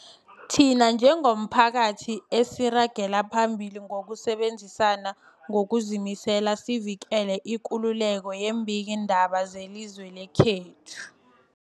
Thina njengomphakathi, asiragele phambili ngokusebenzisana ngokuzimisela sivikele ikululeko yeembikiindaba zelizwe lekhethu.